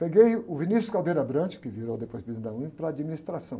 Peguei o, que virou depois presidente da UNE, para a administração.